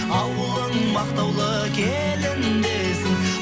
ауылың мақтаулы келін десін